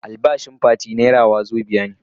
Albashin Fati naira wazobia ne.